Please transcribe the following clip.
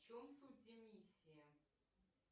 в чем суть эмиссия